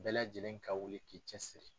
Bɛɛ lajɛlen ka wuli k'i cɛ siri.